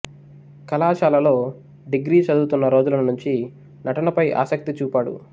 కళాశాలలో డిగ్రీ చదువుతున్న రోజుల నుంచి నటనపై ఆసక్తి చూపాడు